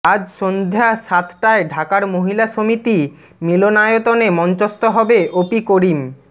আজ সন্ধ্যা সাতটায় ঢাকার মহিলা সমিতি মিলনায়তনে মঞ্চস্থ হবে অপি করিম